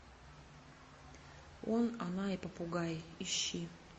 он она и попугай ищи